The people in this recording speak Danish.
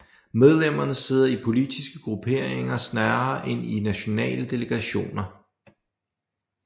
Medlemmerne sidder i politiske grupperinger snarere end i nationale delegationer